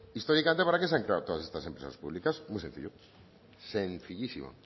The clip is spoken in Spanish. históricamente para qué se han creado todas estas empresas públicas muy sencillo sencillísimo